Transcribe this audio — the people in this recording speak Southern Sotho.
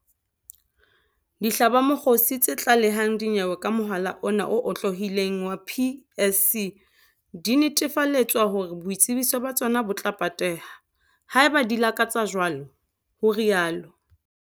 Dihlabamokgosi tse tla lehang dinyewe ka mohala ona o otlolohileng wa PSC di netefaletswa hore boitsebiso ba tsona bo tla pateha, haeba di lakatsa jwalo, ho rialo.